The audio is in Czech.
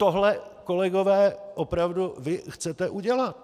Tohle, kolegové, opravdu vy chcete udělat.